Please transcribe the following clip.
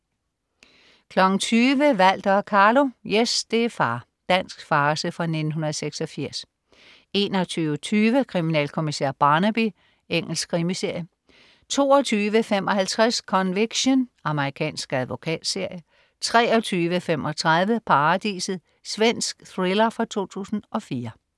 20.00 Walter og Carlo. Yes, det er far. Dansk farce fra 1986 21.20 Kriminalkommissær Barnaby. Engelsk krimiserie 22.55 Conviction. Amerikansk advokatserie 23.35 Paradiset. Svensk thriller fra 2004